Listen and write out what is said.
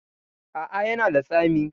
A a, ya na da tsami.